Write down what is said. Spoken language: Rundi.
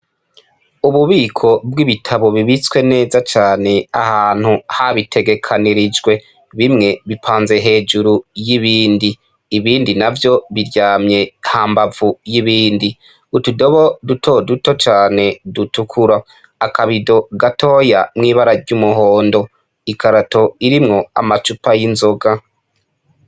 Ububiko bw'ibitabo bibitswe neza cane ahantu habitegekanirijwe, bimwe bipanze hejuru y'ibindi, ibindi navyo biryamye hambavu y'ibindi, utudobo dutoduto cane dutukura, akabido gatoya mw'ibara ry'umuhondo, ikarato irimwo amacupa y'inzoga.